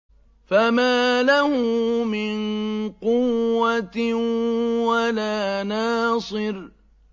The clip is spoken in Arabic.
فَمَا لَهُ مِن قُوَّةٍ وَلَا نَاصِرٍ